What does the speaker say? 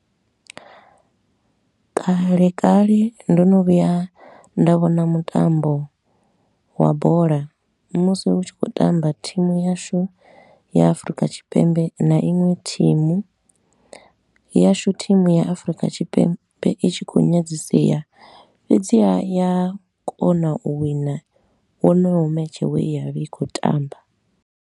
Kale kale ndo no vhuya nda vhona mutambo wa bola musi hu tshi khou tamba thimu yashu ya Afurika Tshipembe, na inwe thimu, yashu thimu ya Afurika Tshipembe i tshi khou nyadzisea. Fhedzi haa, ya kona u wina wonoyo match we ya vha i khou tamba.